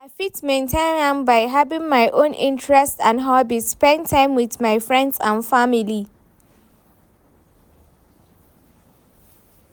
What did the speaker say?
I fit maintain am by having my own interests and hobbies, spend time with my friends and family.